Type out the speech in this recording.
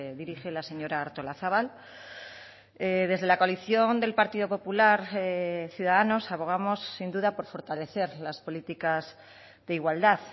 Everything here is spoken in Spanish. dirige la señora artolazabal desde la coalición del partido popular ciudadanos abogamos sin duda por fortalecer las políticas de igualdad